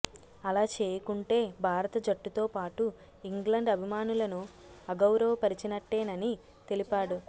అలా చేయకుంటే భారత జట్టుతో పాటు ఇంగ్లండ్ అభిమానులను అగౌరవపరిచినట్టేనని తెలిపాడు